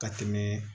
Ka tɛmɛ